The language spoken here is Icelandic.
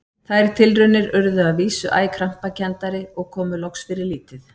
Þær tilraunir urðu að vísu æ krampakenndari og komu loks fyrir lítið.